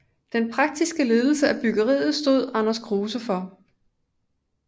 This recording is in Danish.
Den praktiske ledelse af byggeriet stod Anders Kruuse for